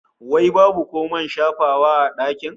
Wai babu ko man shafawa a dakin?